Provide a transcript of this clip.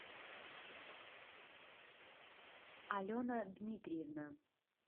алена дмитриевна